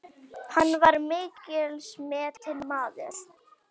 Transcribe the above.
Hann var mikils metinn maður.